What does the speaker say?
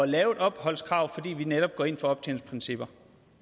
lave et opholdskrav fordi vi netop går ind for optjeningsprincipper